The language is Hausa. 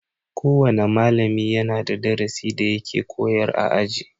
Kowana malami yana da darasi da yake koyar a aji.